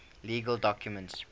legal documents